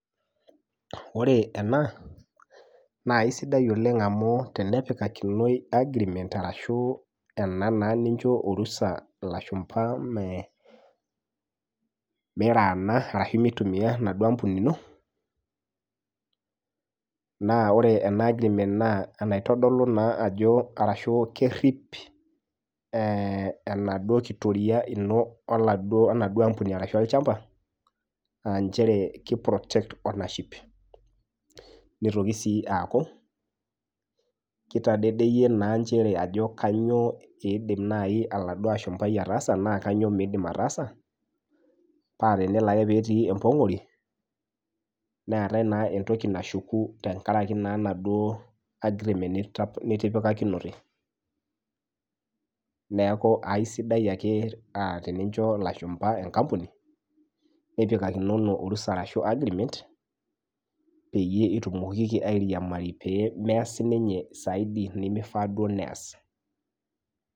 Ore ena naa isidai oleng amu tenepikakinoi agreement arashu ena naa nincho orusa ilashumpa mee meirana arashu meitumia enaduo ampuni ino naa ore ena agreement naa enaitodolu naa ajo arashu kerrip eh enaduo kitoria ino enaduo ampuni arashu olchamba anchere kei protect ownership nitoki sii aaku kitadedeyie naa nchere aajo kanyio iidim naaji oladuo ashumpai ataasa naa kanyio miidim ataasa pe tenelo ake petii empong'ori neetae naa entoki nashuku tenkaraki naa naduo agreement nita nitipikakinote neeku aisidaio ake uh tenincho ilashumpa enkampuni nipikakinono orusa arashu agreement peyie itumokiki airiamari pee meas sininye saidi nemifaa duo neyas.